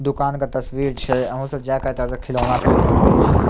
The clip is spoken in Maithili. दुकान के तस्वीर छै अहो सब जाय के एता खिलौना खरीद सकय छीये।